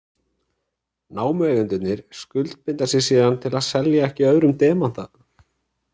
Námueigendurnir skuldbinda sig síðan til að selja ekki öðrum demanta.